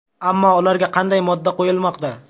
Ammo ularga qanday modda qo‘yilmoqda?